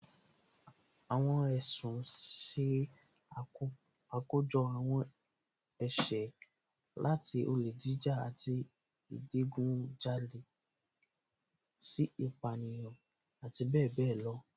Àwọn ẹ̀sùn ṣe àkójọ àwọn ẹ̀ṣẹ̀, láti olè jíjà àti ìdigunjalè sí ìpánìyàn, àti bẹẹ bẹẹ lọ